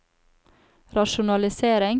rasjonalisering